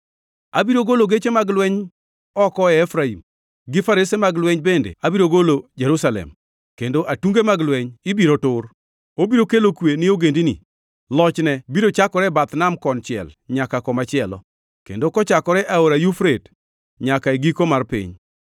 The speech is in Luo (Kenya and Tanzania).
Abiro golo geche mag lweny oko e Efraim gi farese mag lweny bende abiro golo Jerusalem, kendo atunge mag lweny ibiro tur. Obiro kelo kwe ni ogendini. Lochne biro chakore e bath nam konchiel nyaka komachielo, kendo kochakore e Aora Yufrate nyaka e giko mar piny.